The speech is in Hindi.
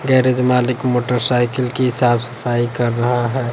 गैरेज मालिक मोटर साइकिल की साफ-सफाई कर रहा है।